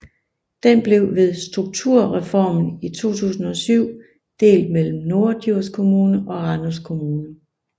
Den blev ved strukturreformen i 2007 delt mellem Norddjurs Kommune og Randers Kommune